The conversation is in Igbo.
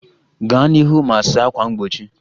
Gaa n'ihu ma saa ákwà mgbochi